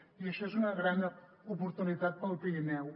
i això és una gran oportunitat pel pirineu